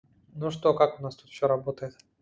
ну что как у нас тут все работает